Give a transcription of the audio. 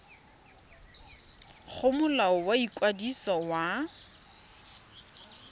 go molao wa ikwadiso wa